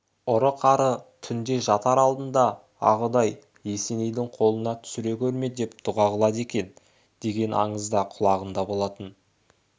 ұры-қары түнде жатар алдында а құдай есенейдің қолына түсіре көрме деп дұға қылады екен деген аңыз да құлағында болатын